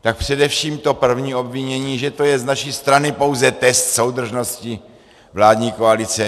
Tak především to první obvinění, že to je z naší strany pouze test soudržnosti vládní koalice.